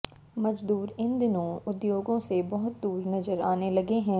मजदूर इन दिनों उद्योगों से बहुत दूर नजर आने लगे हैं